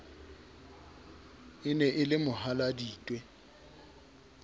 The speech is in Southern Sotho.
e ne e le mohaladitwe